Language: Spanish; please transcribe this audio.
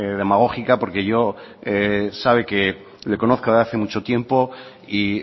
demagógica porque yo sabe que le conozco de hace mucho tiempo y